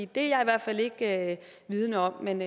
det er jeg i hvert fald ikke vidende om men